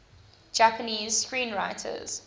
japanese screenwriters